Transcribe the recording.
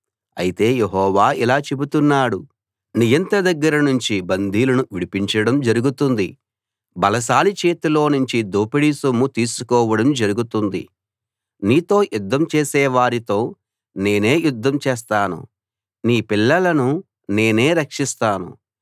అయితే యెహోవా ఇలా చెబుతున్నాడు నియంత దగ్గర నుంచి బందీలను విడిపించడం జరుగుతుంది బలశాలి చేతిలోనుంచి దోపిడీ సొమ్ము తీసుకోవడం జరుగుతుంది నీతో యుద్ధం చేసేవారితో నేనే యుద్ధం చేస్తాను నీ పిల్లలను నేనే రక్షిస్తాను